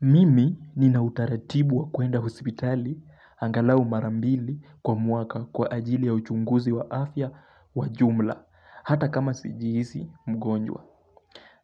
Mimi ninautaratibu wa kuenda hospitali angalau marambili kwa mwaka kwa ajili ya uchunguzi wa afya wa jumla, hata kama sijihisi mgonjwa.